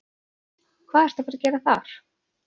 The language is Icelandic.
Hvað ertu að fara að gera þar?